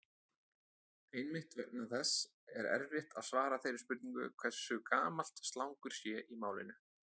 Einmitt vegna þess er erfitt að svara þeirri spurningu hversu gamalt slangur sé í málinu.